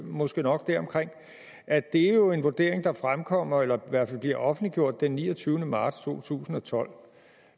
måske nok deromkring og at det jo er en vurdering der fremkommer eller i hvert fald bliver offentliggjort den niogtyvende marts to tusind og tolv